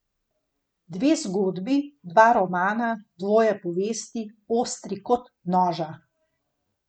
Dve zgodbi, dva romana, dvoje povesti, ostri kot noža.